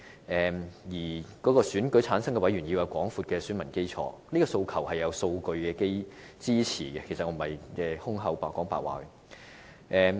至於選舉產生委員要有廣闊的選民基礎這個訴求，是得到數據支持，我並非憑空說的。